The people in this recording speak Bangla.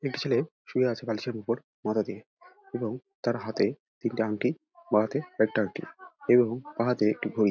একটি ছেলে শুয়ে আছে বালিশের উপর মাথা দিয়ে এবং তার হাতে তিনটে আংটি বা হাতে একটা আংটি এবং বা হাতে একটি ঘড়ি ।